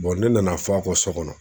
ne nana fɔ a ka so kɔnɔ.